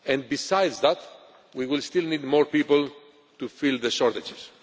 Besides that, we will still need more people to fill the shortages.